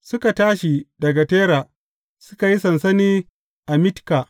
Suka tashi daga Tera, suka yi sansani a Mitka.